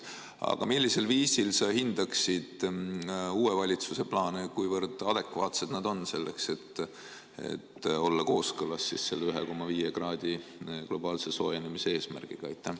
Aga millisel viisil sa hindaksid uue valitsuse plaane, kuivõrd adekvaatsed nad on selleks, et olla kooskõlas selle 1,5 kraadi globaalse soojenemise eesmärgiga?